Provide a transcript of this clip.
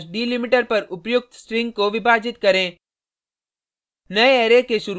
/ forward slash delimiter पर उपर्युक्त string को विभाजित करें